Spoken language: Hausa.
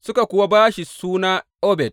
Suka kuwa ba shi suna Obed.